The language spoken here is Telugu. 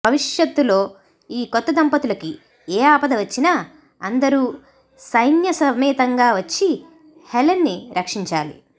భవిష్యత్తులో ఈ కొత్త దంపతులకి ఏ ఆపద వచ్చినా అందరూ సైన్యసమేతంగా వచ్చి హెలెన్ ని రక్షించాలి